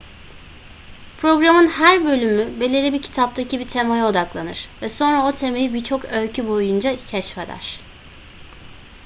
programın her bölümü belirli bir kitaptaki bir temaya odaklanır ve sonra o temayı birçok öykü boyunca keşfeder